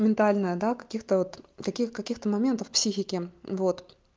ментальная да каких-то вот таких каких-то моментов психики вот